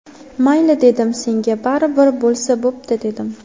Mayli, dedim, senga baribir bo‘lsa bo‘pti, dedim.